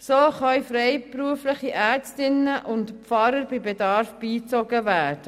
So können freiberufliche Ärztinnen und Pfarrer bei Bedarf beigezogen werden.